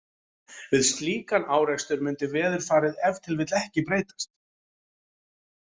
Við slíkan árekstur mundi veðurfarið ef til vill ekki breytast.